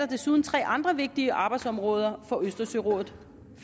desuden tre andre vigtige arbejdsområder for østersørådet